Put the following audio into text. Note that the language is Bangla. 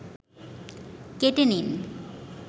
কেটে নিন